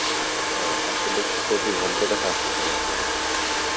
হম আপনি দেখতেছি অতি ভদ্রতা সাজতেছেন এখন।